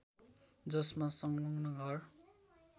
जसमा असंलग्न घर